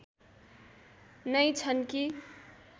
नै छन् कि